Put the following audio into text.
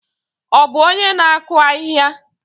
Ọ bụ onye na-akụ ahịhịa?